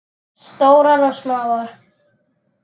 Stórar og smáar.